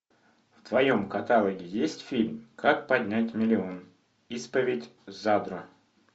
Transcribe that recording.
в твоем каталоге есть фильм как поднять миллион исповедь задрота